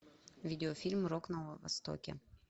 видеофильм рок на востоке